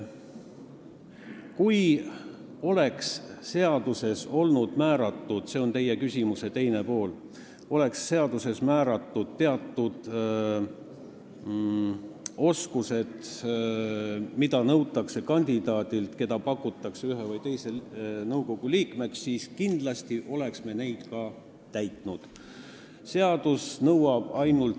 Kui seaduses oleksid olnud kindlaks määratud – see on vastus teie küsimuse teisele poolele – teatud oskused, mida nõutakse kandidaadilt, keda pakutakse ühe või teise nõukogu liikmeks, siis kindlasti oleks me neid tingimusi ka täitnud.